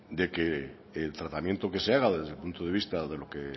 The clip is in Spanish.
de que el tratamiento que se haga desde el punto de vista de lo que